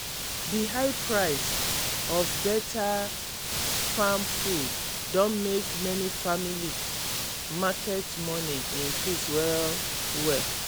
The high price of beta farm food don make many family market money increase well well